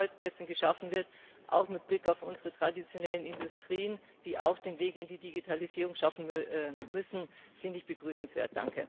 Was an Arbeitsplätzen geschaffen wird, auch mit Blick auf unsere traditionellen Industrien, die auch den Weg in die Digitalisierung schaffen müssen, finde ich begrüßenswert.